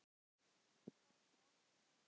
Þú verður mér alltaf kærust.